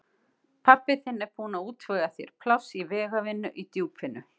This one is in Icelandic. Pabbi þinn er búinn að útvega þér pláss í vegavinnu í Djúpinu.